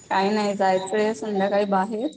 काय नाय जायचंय संध्याकाळी बाहेर